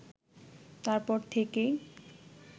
তার পর থেকেই